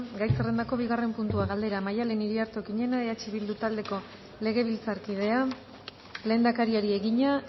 gai zerrendako bigarren puntua galdera maddalen iriarte okiñena eh bildu taldeko legebiltzarkideak lehendakariari egina